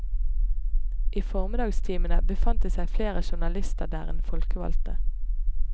I formiddagstimene befant det seg flere journalister der enn folkevalgte.